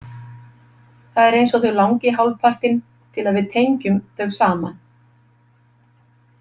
Það er eins og þau langi hálfpartinn til að við tengjum þau saman.